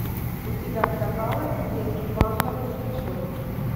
у тебя в каталоге есть квантовый скачок